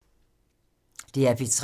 DR P3